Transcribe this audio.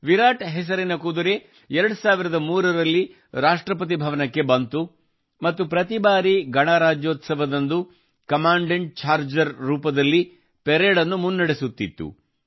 ವಿರಾಟ್ ಹೆಸರಿನ ಕುದುರೆ 2003 ರಲ್ಲಿ ರಾಷ್ಟ್ರಪತಿ ಭವನಕ್ಕೆ ಬಂದಿತು ಮತ್ತು ಪ್ರತಿ ಬಾರಿ ಗಣರಾಜ್ಯೋತ್ಸವದಂದು ಕಮಾಂಡೆಂಟ್ ಚಾರ್ಜರ್ ರೂಪದಲ್ಲಿ ಪರೇಡ್ ಅನ್ನು ಮುನ್ನಡೆಸುತ್ತಿತ್ತು